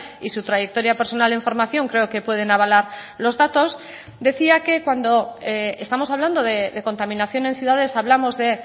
y su trayectoria personal en formación creo que pueden avalar los datos decía que cuando estamos hablando de contaminación en ciudades hablamos de